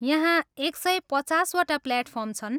यहाँ एक सय पचासवटा प्लेटफार्म छन् ।